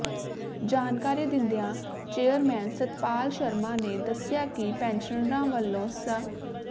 ਜਾਣਕਾਰੀ ਦਿੰਦਿਆਂ ਚੇਅਰਮੈਨ ਸੱਤਪਾਲ ਸ਼ਰਮਾ ਨੇ ਦੱਸਿਆ ਕਿ ਪੈਨਸ਼ਨਰਾਂ ਵੱਲੋਂ ਸ